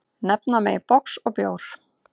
Nefna megi box og bjór.